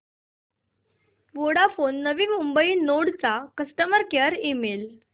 Vodafone Navi Mumbai node चा customer care email